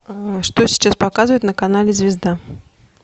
что сейчас показывают на канале звезда